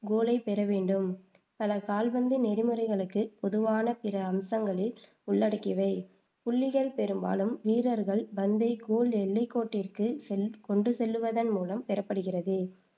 கோலைப் பெறவேண்டும். பல கால்பந்து நெறிமுறைகளுக்குப் பொதுவான பிற அம்சங்களில் உள்ளடங்கியவை புள்ளிகள் பெரும்பாலும் வீரர்கள் பந்தை கோல் எல்லைக்கோட்டிற்கு செல் கொண்டு செல்வதன் மூலம் பெறப்படுகிறது